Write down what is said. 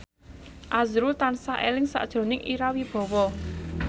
azrul tansah eling sakjroning Ira Wibowo